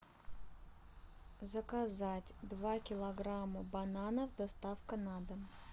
заказать два килограмма бананов доставка на дом